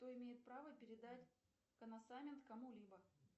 кто имеет право передать коносамент кому либо